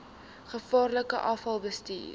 gevaarlike afval bestuur